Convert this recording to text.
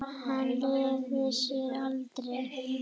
Hann hlífði sér aldrei.